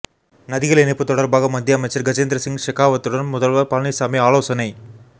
நதிகள் இணைப்பு தொடர்பாக மத்திய அமைச்சர் கஜேந்திர சிங் ஷெகாவத்துடன் முதல்வர் பழனிசாமி ஆலோசனை